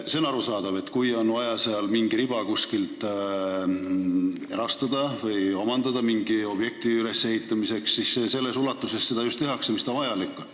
On arusaadav, et kui on vaja kuskil mingi riba omandada mingi objekti ehitamiseks, siis seda tehakse just selles ulatuses, mis vajalik on.